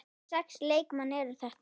Hvaða sex leikmenn eru þetta?